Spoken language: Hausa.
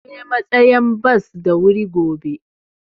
Zan je matsayan bos da wuri gobe.